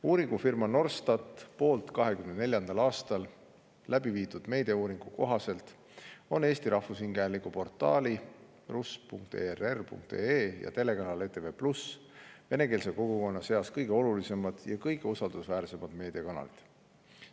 Uuringufirma Norstat 2024. aastal läbi viidud meediauuringu kohaselt on Eesti Rahvusringhäälingu portaal rus.err.ee ja telekanal ETV+ venekeelse kogukonna seas kõige olulisemad ja kõige usaldusväärsemad meediakanalid.